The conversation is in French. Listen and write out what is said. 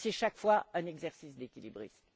Et c'est, chaque fois, un exercice d'équilibriste.